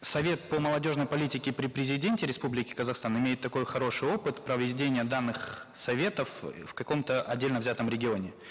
совет по молодежной политике при президенте республики казахстан имеет такой хороший опыт проведения данных советов в каком то отдельно взятом регионе